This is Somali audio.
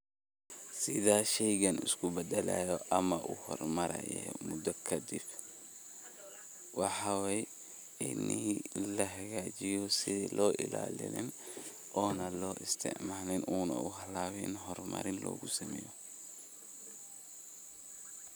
Sidhaa sheygan iskubadalayo ama uhormarayo muda kadib, waxa weye waxa weye ini lahagajiyo sidi loo ilalin, ona lo istacmalin, una halabin hor marin logu sameyo.